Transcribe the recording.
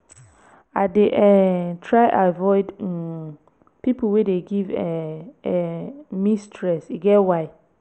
i dey um try avoid um pipo wey dey give um um me stress e get why.